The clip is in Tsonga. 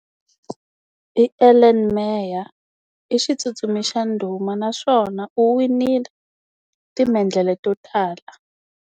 I Elana Meyer. I xitsutsumi xa ndhuma naswona u winile, timendlele to tala.